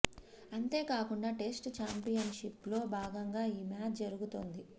అంతేకాకుండా test championship లో భాగంగా ఈ మ్యాచ్ జరుగుతోంది